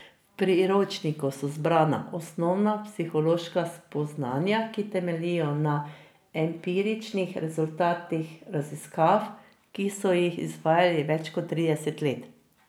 V priročniku so zbrana osnovna psihološka spoznanja, ki temeljijo na empiričnih rezultatih raziskav, ki so jih izvajali več kot trideset let.